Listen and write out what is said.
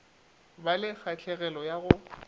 ba le kgahlegelo ya go